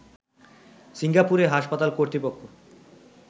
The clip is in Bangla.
সিঙ্গাপুরে হাসপাতাল কর্তৃপক্ষ